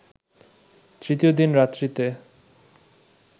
তৃতীয় দিন রাত্রিতে